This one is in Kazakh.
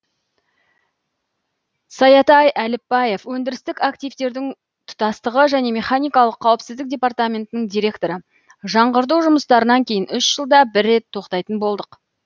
саятай әліпбаев өндірістік активтердің тұтастығы және механикалық қауіпсіздік департаментінің директоры жаңғырту жұмыстарынан кейін үш жылда бір рет тоқтайтын болдық